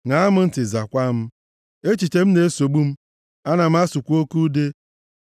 ṅaa m ntị, zaakwa m. Echiche m na-esogbu m; ana m asụkwa oke ude